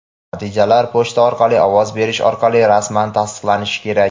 Natijalar pochta orqali ovoz berish orqali rasman tasdiqlanishi kerak.